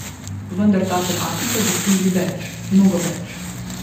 Vendar ta tematika zasluži več, mnogo več.